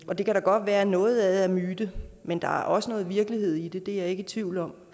og det kan da godt være at noget af det er myte men der er også noget virkelighed i det det er jeg ikke i tvivl om